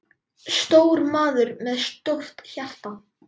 Stór maður með stórt hjarta.